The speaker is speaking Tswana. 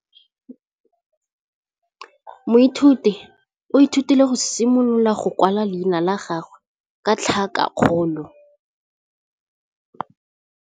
Moithuti o ithutile go simolola go kwala leina la gagwe ka tlhakakgolo.